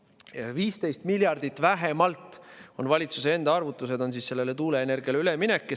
Vähemalt 15 miljardit valitsuse enda arvutuste kohaselt tuuleenergiale üleminekule.